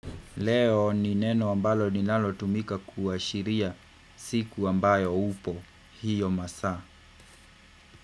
Leo ni neno ambalo linalo tumika kuashiria siku ambayo upo hiyo masaa.